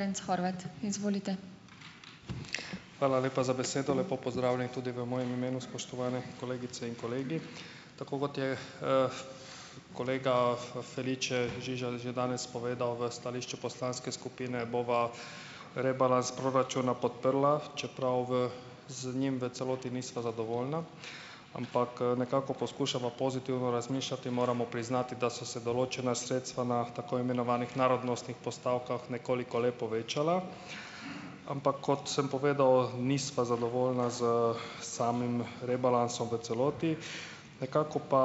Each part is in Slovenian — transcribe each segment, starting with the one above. Horvat, izvolite. Hvala lepa za besedo, lepo pozdravljeni tudi v mojem imenu, spoštovane kolegice in kolegi. Tako kot je, kolega Felice Žiža že danes povedal v stališču poslanske skupine, bova rebalans proračuna podprla, čeprav v, z njim v celoti nista zadovoljna, ampak, nekako poskušamo pozitivno razmišljati, moramo priznati, da so se določena sredstva na tako imenovanih narodnostnih postavkah nekoliko le povečala. Ampak, kot sem povedal, nisva zadovoljna s samim rebalansom v celoti, nekako pa,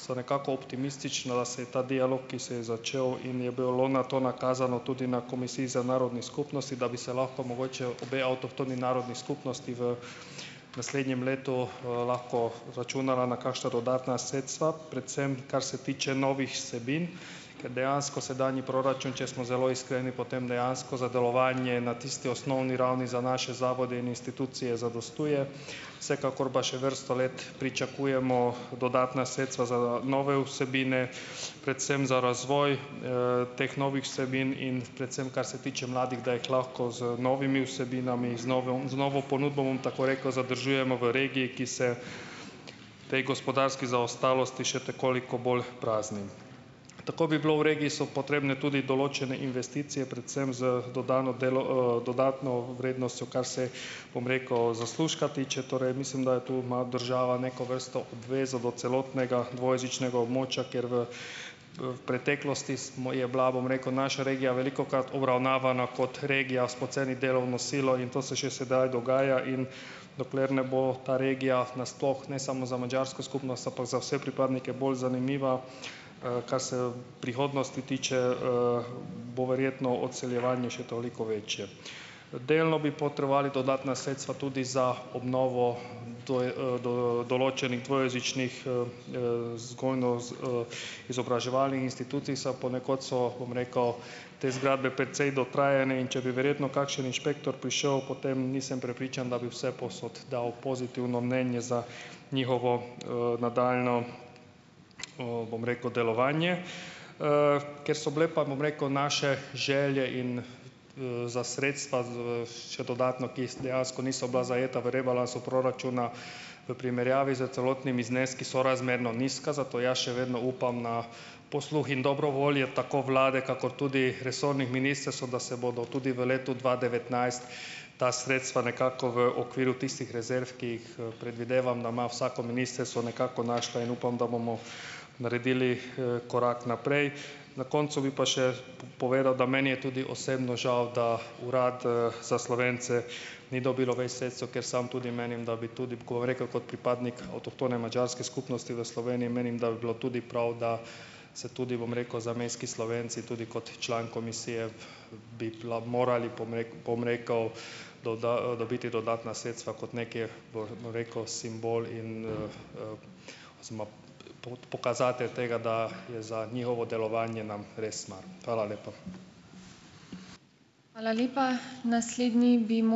se nekako optimistično, da se je ta dialog, ki se je začel in je bilo na to nakazano tudi na Komisiji za narodne skupnosti, da bi se lahko mogoče obe avtohtoni narodni skupnosti v naslednjem letu, lahko računali na kakšna dodatna sredstva, predvsem kar se tiče novih vsebin, ker dejansko sedanji proračun, če smo zelo iskreni, potem dejansko za delovanje na tisti osnovni ravni za naše zavode in institucije zadostuje, vsekakor pa še vrsto let pričakujemo dodatna sredstva za nove vsebine, predvsem za razvoj, teh novih vsebin in predvsem, kar se tiče mladih, da jih lahko z novimi vsebinami, z novo ponudbo, bom tako rekel , zadržujemo v regiji, ki se tej gospodarski zaostalosti še te koliko bolj prazni. Tako bi bilo, v regiji so potrebne tudi določene investicije, predvsem z dodano dodatno vrednostjo, kar se, bom rekel, zaslužka tiče, torej mislim, da je tu, ima država neko vrsto obvezo do celotnega dvojezičnega območja, ker v, preteklosti smo, je bila, bom rekel, naša regija velikokrat obravnavana kot regija s poceni delovno silo in to se še sedaj dogaja, in dokler ne bo ta regija na sploh, ne samo za madžarsko skupnost, ampak za vse pripadnike bolj zanimiva, kar se, prihodnosti tiče, bo verjetno odseljevanje še toliko večje. Delno bi potrebovali dodatna sredstva tudi za obnovo določenih dvojezičnih, vzgojno- izobraževalnih institucij, za ponekod so, bom rekel, te zgradbe precej dotrajane, in če bi verjetno kakšen inšpektor prišel, potem nisem prepričan, da bi vsepovsod dal pozitivno mnenje za njihovo, nadaljnje, bom rekel, delovanje, ker so bile pa, bom rekel, naše želje in za sredstva, še dodatno, ki dejansko niso bila zajeta v rebalansu proračuna, v primerjavi s celotnimi zneski sorazmerno nizka, zato jaz še vedno upam na posluh in dobro voljo tako vlade kakor tudi resornih ministrstev, da se bodo tudi v letu dva devetnajst ta sredstva nekako v okviru tistih rezerv, ki jih, predvidevam, da ima vsako ministrstvo, nekako našla in upam, da bomo naredili, korak naprej. Na koncu bi pa še povedal, da meni je tudi osebno žal, da Urad, za Slovence ni dobilo več sredstev, ker sam tudi menim, da bi tudi rekel kot pripadnik avtohtone madžarske skupnosti v Sloveniji, menim, da bi bilo tudi prav, da se tudi, bom rekel, zamejski Slovenci, tudi kot član komisije bi bila morali, bom bom rekel, dobiti dodatna sredstva kot nekih, bom rekel, simbol in, pokazatelj tega, da je za njihovo delovanje nam res mar. Hvala lepa. Hvala lepa. Naslednji bi ...